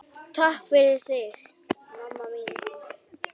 Takk fyrir þig, mamma mín.